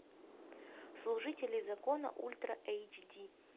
служители закона ультра эйч ди